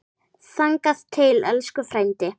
Þangað til, elsku frændi.